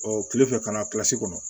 Ɔ kile fɛ ka na kɔnɔ